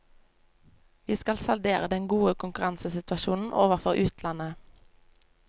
Vi skal saldere den gode konkurransesituasjonen overfor utlandet.